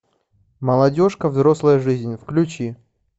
молодежка взрослая жизнь включи